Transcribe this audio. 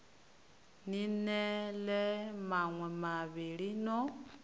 ni ḽee maṋwe mavhili no